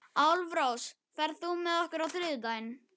Álfrós, ferð þú með okkur á þriðjudaginn?